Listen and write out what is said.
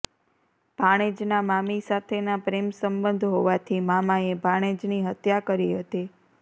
ભાણેજના મામી સાથેના પ્રેમ સબંધ હોવાથી મામાએ ભાણેજની હત્યા કરી હતી